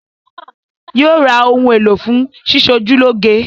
Yóò ra ohun èlò fún sísọjúlọ́ge